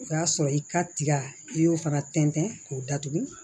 O y'a sɔrɔ i ka tiga i y'o fana tɛntɛn k'o datugu